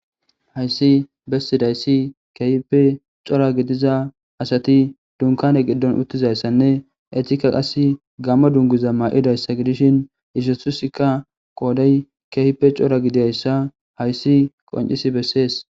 hayssi bessidayssi kehipe cora gidiza asati dunkane giddon uttizayssanne eetikka qas gamma dungiza maa7idayssa gidishin isesusikka qoodey kehipe cora gidiayssa hayssi qoncisi bessees